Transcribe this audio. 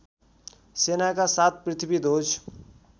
सेनाका साथ पृथ्वीध्वज